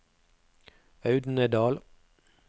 Audnedal